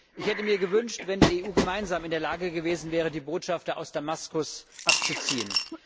Ich hätte mir gewünscht, dass die EU gemeinsam in der Lage gewesen wäre, die Botschafter aus Damaskus abzuziehen.